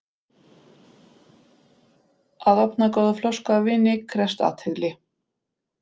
Að opna góða flösku af víni krefst athygli.